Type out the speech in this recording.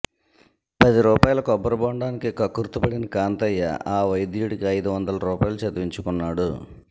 పది రూపాయల కొబ్బరిబొండానికి కక్కుర్తిపడిన కాంతయ్య ఆ వైద్యుడికి అయిదు వందల రూపాయలు చదివించుకున్నాడు